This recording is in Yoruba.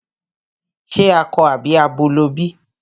Ṣe akọ àbí abo ló bí?